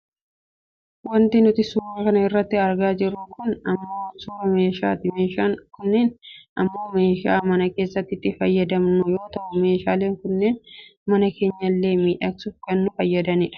Wanti nuti suura kana irratti argaa jirru kun ammoo suuraa meeshaati. Meeshaan kunniin ammoo meeshaa mana keessatti itti fayyadamnu yoo ta'u meeshaaleen kunniin mana keenyallee miidhagsuuf kan nu fayyadani dha.